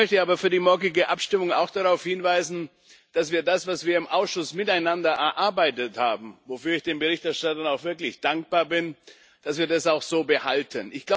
Ich möchte aber für die morgige Abstimmung auch darauf hinweisen, dass wir das, was wir im Ausschuss miteinander erarbeitet haben wofür ich den Berichterstattern auch wirklich dankbar bin auch so behalten.